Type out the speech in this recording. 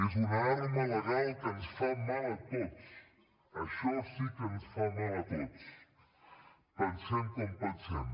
és un arma legal que ens fa mal a tots això sí que ens fa mal a tots pensem com pensem